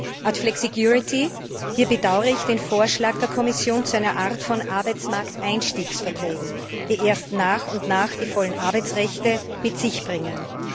Zur Flexicurity Hier bedaure ich den Vorschlag der Kommission zu einer Art von Arbeitsmarkteinstiegsverträgen, die erst nach und nach die vollen Arbeitsrechte mit sich bringen.